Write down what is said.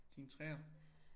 Din 3'er